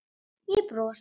Ég brosi.